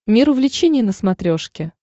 мир увлечений на смотрешке